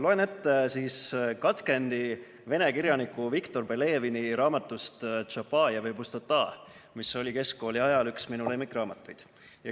Loen ette katkendi vene kirjaniku Viktor Pelevini raamatust "Tšapajev ja Pustota", mis oli keskkooli ajal üks minu lemmikraamatuid.